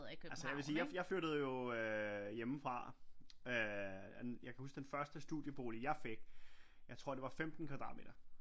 Altså jeg vil sige jeg flyttede jo øh hjemmefra øh jeg kan huske den første studiebolig jeg fik jeg tror det var 15 kvadratmeter